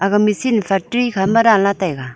a macine factory khama danla taiga.